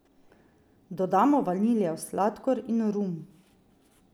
Dodamo vaniljev sladkor in rum.